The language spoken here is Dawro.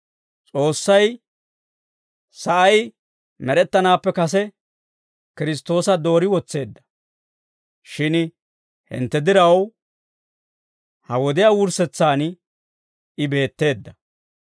S'oossay sa'ay med'ettanaappe kase Kiristtoosa doori wotseedda; shin hintte diraw, ha wodiyaa wurssetsaan I beetteedda.